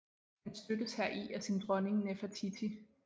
Han støttes heri af sin dronning Nefertiti